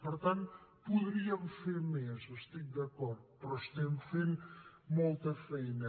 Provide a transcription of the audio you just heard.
per tant podríem fer més hi estic d’acord però estem fent molta feina